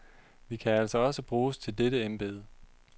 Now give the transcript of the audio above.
Vi kan altså også bruges til dette embede.